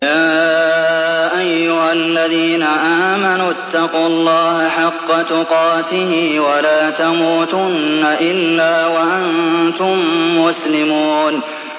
يَا أَيُّهَا الَّذِينَ آمَنُوا اتَّقُوا اللَّهَ حَقَّ تُقَاتِهِ وَلَا تَمُوتُنَّ إِلَّا وَأَنتُم مُّسْلِمُونَ